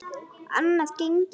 Annað gengi ekki.